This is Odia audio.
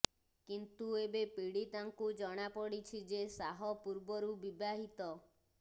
କିନ୍ତୁ ଏବେ ପୀଡ଼ିତାଙ୍କୁ ଜଣା ପଡ଼ିଛି ଯେ ଶାହ ପୂର୍ବରୁ ବିବାହିତ